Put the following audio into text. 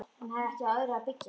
Hún hafði ekki á öðru að byggja.